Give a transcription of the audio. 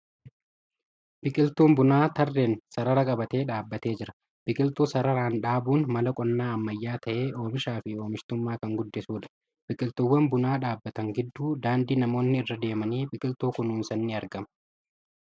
Biqiltuun bunaa trreen sarara qabatee dhaabatee jira. Biqiltuu sararaan dhaabuun mala qonnaa ammayyaa ta'ee oomishaa fi oomishtummaa kan guddisuudha. Biqiltuuwan bunaa dhaabbatan gidduu daandii namoonni irra deemanii biqiltuu kunuunsan ni argama.